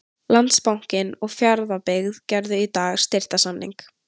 Landsbankinn og Fjarðabyggð gerðu í dag styrktarsamning.